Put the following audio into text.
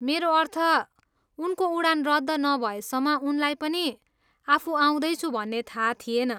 मेरो अर्थ, उनको उडान रद्द नभएसम्म उनलाई पनि आफू आउँदैछु भन्ने थाहा थिएन।